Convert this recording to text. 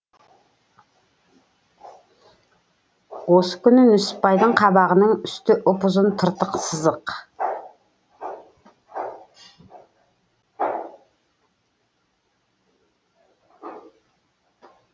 осы күні нүсіпбайдың қабағының үсті ұп ұзын тыртық сызық